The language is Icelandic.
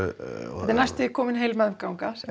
þetta er næstum því komin heil meðganga sem